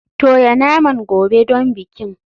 Toya naman gobe don bikin.